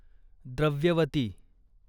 Dravyavati